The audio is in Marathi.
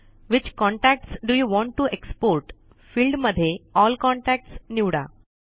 which contacts do you want to export field मध्ये एल कॉन्टॅक्ट्स निवडा